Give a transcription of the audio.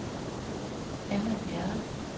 Anna Bjerre